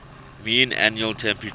mean annual temperature